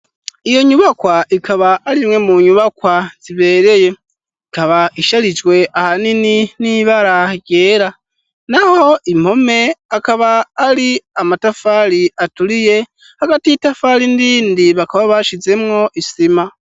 Iyo nyubakwa ikaba arimwe mu nyubakwa zibereye, ikaba isharijwe ahanini n'ibara ryera naho impome akaba ari amatafari aturiye hagati y'itafari nirindi bakaba bashizemwo isima.